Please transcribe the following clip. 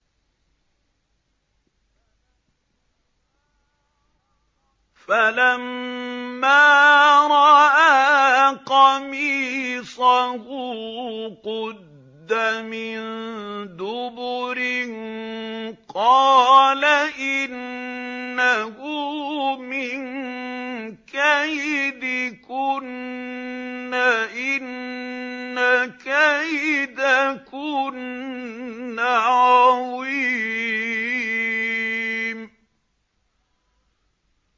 فَلَمَّا رَأَىٰ قَمِيصَهُ قُدَّ مِن دُبُرٍ قَالَ إِنَّهُ مِن كَيْدِكُنَّ ۖ إِنَّ كَيْدَكُنَّ عَظِيمٌ